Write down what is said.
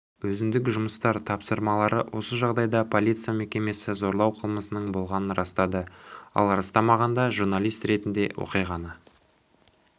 өзіндік жұмыстар тапсырмалары осы жағдайда полиция мекемесі зорлау қылмысының болғанын растады ал растамағанда журналист ретінде оқиғаны